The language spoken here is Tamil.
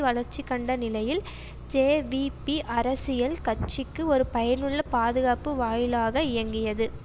வளர்ச்சிகண்ட நிலையில் ஜேவிபி அரசியல் கட்சிக்கு ஒரு பயனுள்ள பாதுகாப்பு வாயிலாக இயங்கியது